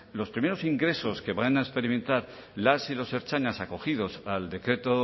los primeros ingresos que van a experimentar las y los ertzainas acogidos al decreto